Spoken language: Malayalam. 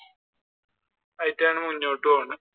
ആയിട്ടാണ് മുന്നോട്ടുപോവുന്നത്.